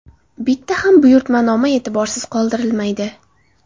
Bitta ham buyurtmanoma e’tiborsiz qoldirilmaydi.